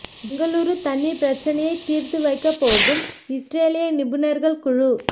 பெங்களூர் தண்ணீர் பிரச்சனையை தீர்த்து வைக்கப் போகும் இஸ்ரேலிய நிபுணர்கள் குழு